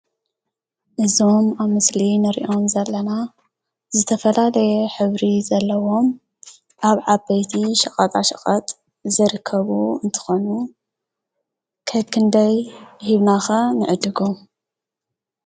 ንዞም ኣብ ምስሊ ንርእዮም ዘለና ዝተፈላለየ ኅብሪ ዘለዎም ኣብ ዓበይቲ ሸቓጣ ሸቐጥ ዘርከቡ እንተኾኑ ከክንደይ ሂብናኸ ንዕድጉ?